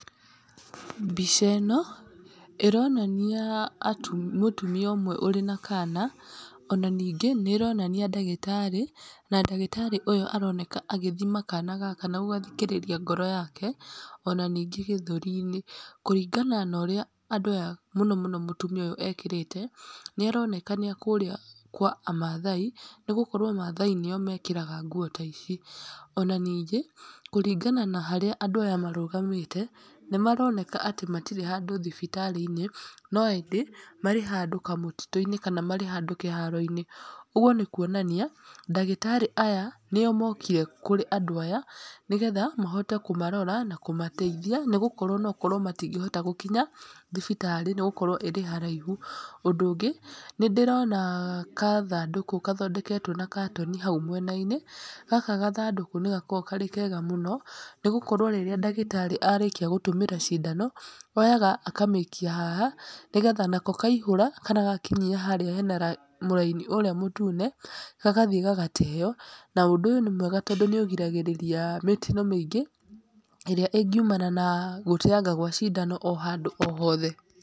Mbica ĩno, ĩronania mũtumia ũmwe, ũrĩ na kana, ona ningĩ nĩ ĩronania ndagĩtarĩ, na ndagĩtarĩ ũyũ aroneka agĩthima kana gaka na gũgathikĩrĩria ngoro yake, ona ningĩ gĩthũri-inĩ. Kũringana na ũrĩa andũ aya mũno mũno mũtumia ũyũ ekĩrĩte, nĩ aroneka nĩ a kũrĩa kwa a mathai, nĩ gũkorwo mathai nĩo mekĩraga nguo ta ici, ona ningĩ, kũringana na harĩa andũ aya marũgamĩte, nĩ maroneka atĩ matirĩ handũ thibitarĩ-inĩ, no ĩndĩ marĩ handũ kamũtitũ-inĩ, kana marĩ handũ kĩharo-inĩ, ũguo nĩ kuonania ndagĩtarĩ aya nĩo mokire kũrĩ andũ aya, nĩgetha mahote kũmarora na kũmateithia, nĩgũkorwo no ũkorwo matingĩhota gũkinya thibitarĩ, nĩgũkorwo ĩrĩ haraihu, ũndũ ũngĩ, nĩ ndĩrona kathandũkũ gathondeketwo na katoni hau mwena-inĩ, gaka gathandũkũ nĩ gakoragwo karĩ kega mũno, nĩ gũkorwo rĩrĩa ndagĩtarĩ arĩkia gũtũmĩra cindano, oyaga akamĩikia haha, nĩgetha nako kaihũra kana gakinyia harĩa hena mũraini ũrĩa mũtune, gagathiĩ gagateyo, na ũndũ ũyũ nĩ mwega tondũ nĩ ũgiragĩrĩria mĩtino mĩingĩ, ĩrĩa ĩngiumana na gũteanga gwa cindano o handũ o hothe.